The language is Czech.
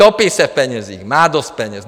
Topí se v penězích, má dost peněz.